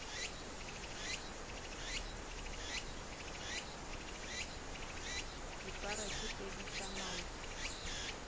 dipara tse pedi tša maoto